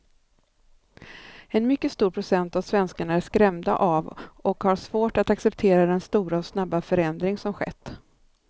En mycket stor procent av svenskarna är skrämda av och har svårt att acceptera den stora och snabba förändring som skett.